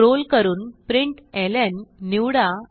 scroll करून println निवडा